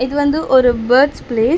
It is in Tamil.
இது வந்து ஒரு பேர்ட்ஸ் பிளேஸ் .